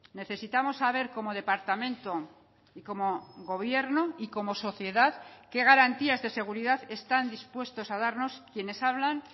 necesitamos saber como departamento y como gobierno y como sociedad qué garantías de seguridad están dispuestos a darnos quienes hablan